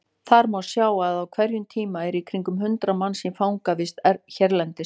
Þar má sjá að á hverjum tíma eru í kringum hundrað manns í fangavist hérlendis.